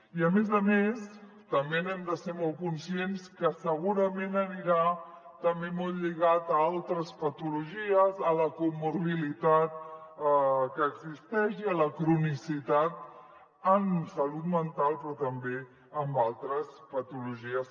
i a més a més també n’hem de ser molt conscients que segurament anirà també molt lligat a altres patologies a la comorbiditat que existeix i a la cronicitat en salut mental però també amb altres patologies